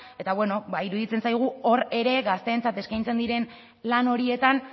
eta bueno ba iruditzen zaigu hor ere gazteentzat eskaintzen diren lan horietan